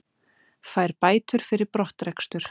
Fær bætur fyrir brottrekstur